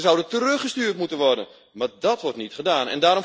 Ze zouden teruggestuurd moeten worden, maar dat wordt niet gedaan.